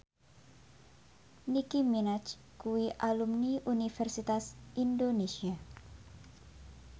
Nicky Minaj kuwi alumni Universitas Indonesia